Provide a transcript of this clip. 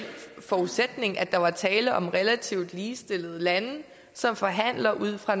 forudsætning at der var tale om relativt ligestillede lande som forhandler ud fra